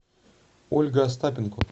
ольга остапенко